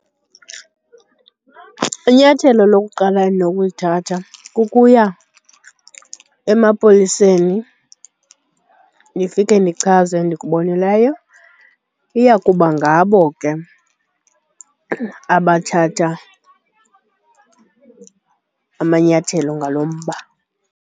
Inyathelo lokuqala endinokulithatha kukuya emapoliseni ndifike ndichaze endikubonileyo, iya kuba ngabo ke abathatha amanyathelo ngalo mba.